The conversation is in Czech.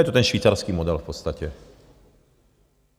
Je to ten švýcarský model v podstatě.